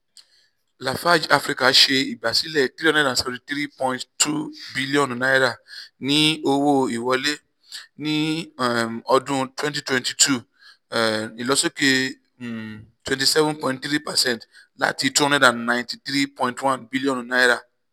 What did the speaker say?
lafarge africa ṣe igbasilẹ n three hundred seventy three point two bilionu ni owo-wiwọle ni um ọdun twenty twenty two um ilosoke um twenty seven point three percent lati n two hundred ninety three point one bilionu